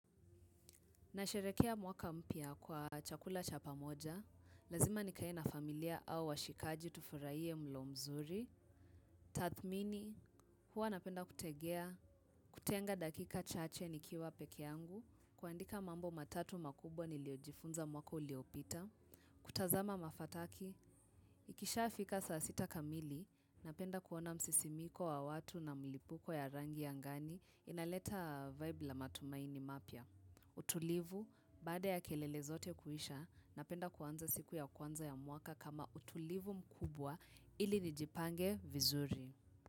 Nasherehekea mwaka mpya kwa chakula cha pamoja, lazima nikae na familia au washikaji tufurahie mlo mzuri. Tathmini, huwa napenda kutegea, kutenga dakika chache nikiwa peke yangu, kuandika mambo matatu makubwa niliyojifunza mwaka uliopita. Kutazama mafataki, ikisha fika saa sita kamili, napenda kuona msisimiko wa watu na mlipuko ya rangi ya angani, inaleta vibe la matumaini mapya. Utulivu baada ya kelele zote kuisha napenda kuanza siku ya kwanza ya mwaka kama utulivu mkubwa ili nijipange vizuri.